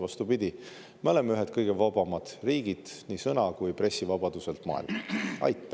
Vastupidi, me oleme ühed kõige vabamad riigid nii sõna- kui pressivabaduselt maailmas.